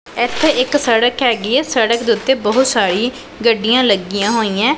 ਇੱਥੇ ਇੱਕ ਸੜਕ ਹੈਗੀ ਐਂ ਸੜਕ ਦੇ ਓੱਤੇ ਬਹੁਤ ਸਾਰੀ ਗੱਡੀਆਂ ਲੱਗੀਆਂ ਹੋਈਐਂ।